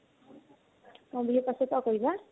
বিহুৰ পাছৰ পৰা কৰিবা?